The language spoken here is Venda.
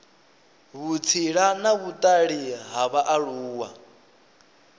vhutsila na vhutali ha vhaaluwa